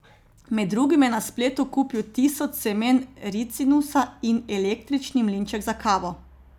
Med drugim je na spletu kupil tisoč semen ricinusa in električni mlinček za kavo.